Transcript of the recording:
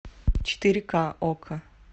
четыре ка окко